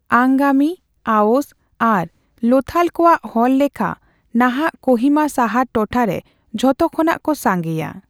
ᱟᱝᱜᱟᱢᱤ, ᱟᱣᱳᱥ, ᱟᱨ ᱞᱳᱛᱷᱟᱞ ᱠᱚᱣᱟᱜ ᱦᱚᱲ ᱞᱮᱠᱷᱟ ᱱᱟᱦᱟᱜ ᱠᱳᱦᱤᱢᱟ ᱥᱟᱦᱟᱨ ᱴᱚᱴᱷᱟᱨᱮ ᱡᱷᱚᱛᱚ ᱠᱷᱚᱱᱟᱜ ᱠᱚ ᱥᱟᱸᱜᱮᱭᱟ ᱾